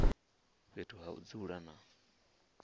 fhethu ha u dzula na